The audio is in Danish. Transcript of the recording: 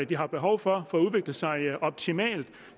de har behov for for at udvikle sig optimalt